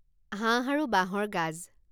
হাঁহ আৰু বাঁহৰ গাজ